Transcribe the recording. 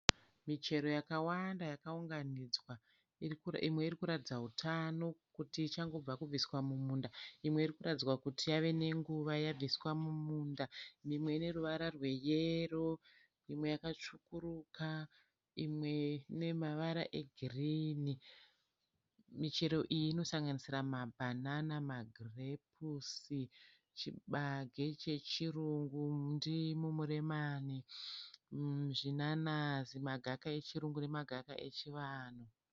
Michero yakawanda yakaunganidzwa imwe irikuratidza hutano kuti ichangobva kubviswa mumunda, imwe iri kutaridza kuti yava nenguva yabviswa mumunda. Imwe ine ruvara rweyero, imwe yakatsvukuruka, imwe ine mavara egirini. Michero iyi inosanganisira mabanana, magirepusi, chibage chechirungu, ndimu, muremani, zvinanazi, magaka echirungu nemagaka echivanhu.